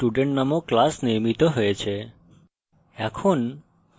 আমরা দেখতে পারি যে student named class নির্মিত হয়েছে